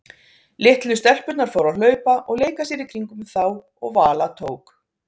Litlu stelpurnar fóru að hlaupa og leika sér í kringum þá og Vala tók